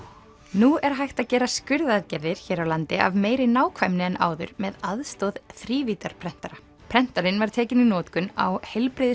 nú er hægt að gera skurðaðgerðir hér á landi af meiri nákvæmni en áður með aðstoð þrívíddarprentara prentarinn var tekinn í notkun á